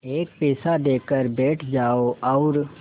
एक पैसा देकर बैठ जाओ और